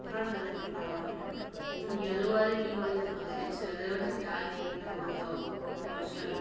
हर colour के flower हैं और येलो वाले पिंक वाले बहुत ही अच्छे लग रहे हैं और जो डार्क ग्रीन में हैं वो तो माशाल्लाह --